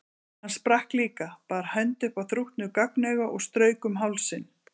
Hann sprakk líka, bar hönd upp að þrútnu gagnauga og strauk um hálsinn.